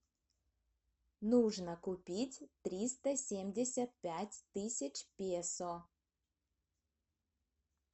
нужно купить триста семьдесят пять тысяч песо